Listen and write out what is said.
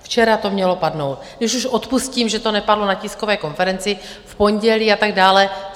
Včera to mělo padnout, když už odpustím, že to nepadlo na tiskové konferenci v pondělí a tak dále.